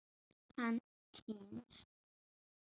Hann týnst?